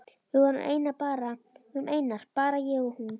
Við vorum einar, bara ég og hún.